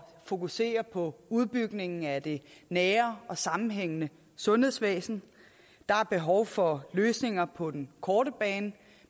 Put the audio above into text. fokusere på udbygningen af det nære og sammenhængende sundhedsvæsen der er behov for løsninger på den korte bane